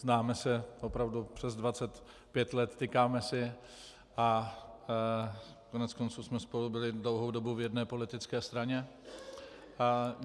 Známe se opravdu přes 25 let, tykáme si a koneckonců jsme spolu byli dlouhou dobu v jedné politické straně.